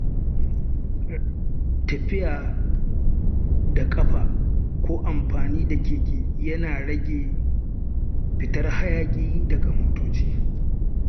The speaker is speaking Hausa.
Tafiya da ƙafa ko amfani da keke yana rage fitar hayaƙi daga motoci.